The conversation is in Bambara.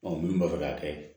minnu b'a fɛ k'a kɛ